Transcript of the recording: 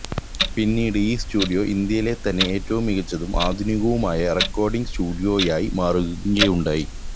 പിന്നീട് ഈ സ്റ്റുഡിയോ ഇന്ത്യയിലെത്തന്നെ ഏറ്റവും മികച്ചതും ആധുനികവുമായ റെക്കോർഡിങ് സ്റ്റുഡിയോയായി മാറുകയുണ്ടായി